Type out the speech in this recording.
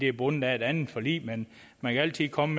er bundet af et andet forlig men man kan altid komme